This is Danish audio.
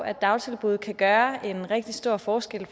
at dagtilbud kan gøre en rigtig stor forskel